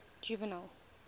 juvenal